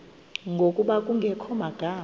ngokuba kungekho magama